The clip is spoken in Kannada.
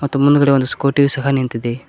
ಮತ್ತು ಮುಂದ್ಗಡೆ ಒಂದು ಸ್ಕೂಟಿ ಯು ಸಹ ನಿಂತಿದೆ.